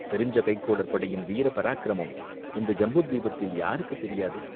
தெரிஞ்ச கைக்கோளர் படையின் வீர பராக்கிரமம் இந்த ஜம்புத்வீபத்தில் யாருக்குத் தெரியாது?